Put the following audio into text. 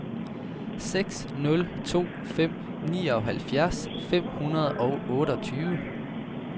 seks nul to fem nioghalvfjerds fem hundrede og otteogtyve